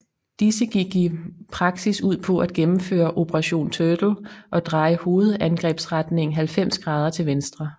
Disse gik i praksis ud på at gennemføre Operation Turtle og dreje hovedangrebsretningen 90 grader til venstre